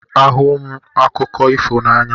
Ahụrụ m akụkọ ifo n'anya